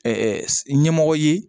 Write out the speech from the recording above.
ɲɛmɔgɔ ye